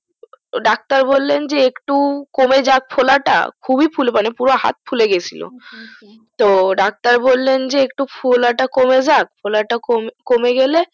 তো doctor বললেন যে একটু কমে যাক ফোলাটা খুবই ফুল মানে পুরো হাত ফুলে গেছিলো আচ্ছা আচ্ছা তো doctor বললেন যে ফোলাটা কমে যাক ফোলাটা কম কমে গেলে